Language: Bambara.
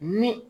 Ni